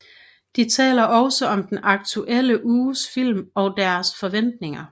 De taler også om den aktuelle uges film og deres forventninger